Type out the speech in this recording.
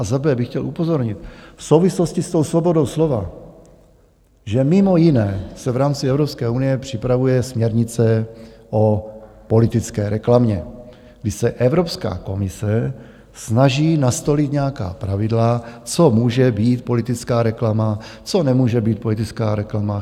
A za b) bych chtěl upozornit v souvislosti s tou svobodou slova, že mimo jiné se v rámci Evropské unie připravuje směrnice o politické reklamě, kdy se Evropská komise snaží nastolit nějaká pravidla, co může být politická reklama, co nemůže být politická reklama.